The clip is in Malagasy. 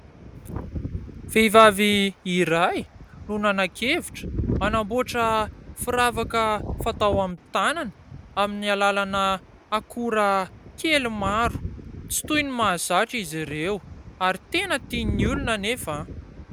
Vehivavy iray no nanan-kevitra hanamboatra firavaka fatao amin'ny tanana amin'ny alalana akora kely maro. Tsy toy ny mahazatra izy ireo ary tena tian'ny olona anefa.